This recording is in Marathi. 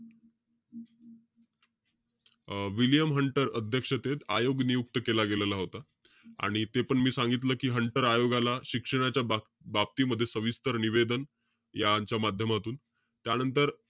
अं विल्यम हंटर अध्यक्षतेत आयोग नियुक्त केला गेलेला होता. आणि तेपण मी सांगितलं कि हंटर आयोगाला शिक्षणाच्या बाब~ बाबती मध्ये सविस्तर निवेदन. या यांच्या माध्यमातून. त्यांनतर,